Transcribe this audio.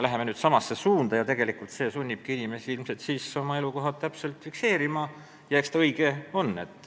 Tegelikult see sunnibki inimesi oma elukohti täpselt fikseerima ja eks ta õige ole.